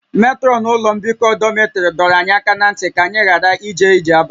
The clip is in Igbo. Metrọnụ ụlọ mbikọ dọmịtrị dọrọ anyị aka ná ntị ka anyị ghara ije ije abalị